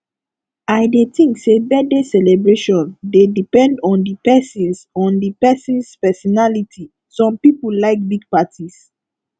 i dey think say birthday celebration dey depend on di persons on di persons personality some people like big parties